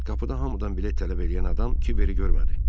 Qapıda hamıdan bilet tələb eləyən adam kiveri görmədi.